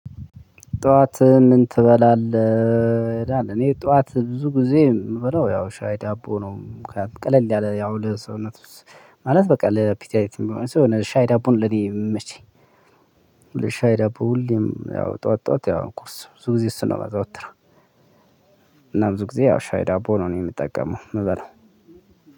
ጠዋት ምን? ትበላለህ እኔ ጠዋት ብዙ ጊዜ የምበለው ያው ሻይ ዳቦ ነው። ቀለል ያለ ያው ለሰውነት ማለት በቃ ለአፒታይት የሚሆን ሲሆን ሻይ ዳቦ ነው ለኔ የሚመቸኝ። ሻይ ዳቦ ሁሌም ያው ጠዋት ጠዋት ያው እኮ ቁርስ ብዙ ጊዜ እሱ ነው የማዘወትረው። ብዙ ጊዜ ያው ሻይ ዳቦ ነው የምጠቀመው እእምበላው